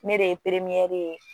Ne de ye ye